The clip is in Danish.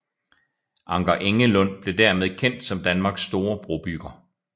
Anker Engelund blev dermed kendt som Danmarks store brobygger